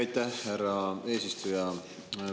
Aitäh, härra eesistuja!